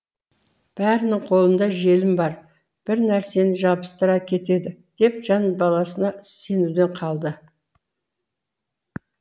бәрінің қолында желім бар бір нәрсені жабыстыра кетеді деп жан баласына сенуден қалды